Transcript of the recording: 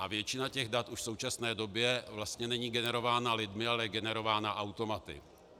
A většina těch dat už v současné době vlastně není generována lidmi, ale je generována automaty.